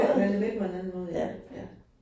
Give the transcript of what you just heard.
At man er med på en anden måde. Ja, ja